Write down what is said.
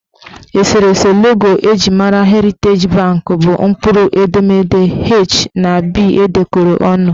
Eserese logo eji mara Heriteji banki bụ mkpụrụ edemede H na B edekọrọ ọnụ